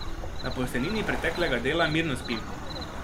Na posteljnini preteklega dela mirno spim.